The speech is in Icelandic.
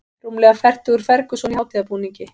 Rúmlega fertugur Ferguson í hátíðarbúningi